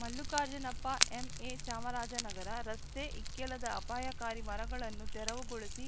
Mallikarjunappa MA Chamarajanagar ರಸ್ತೆ ಇಕ್ಕೆಲದ ಅಪಾಯಕಾರಿ ಮರಗಳನ್ನು ತೆರವುಗೊಳಿಸಿ